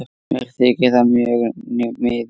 Mér þykir það mjög miður.